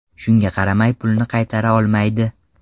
Shunga qaramay pulni qaytara olmaydi.